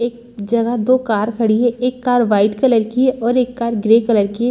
एक जगह दो कार खड़ी है एक कार वाइट कलर की है और एक कार ग्रे कलर की है।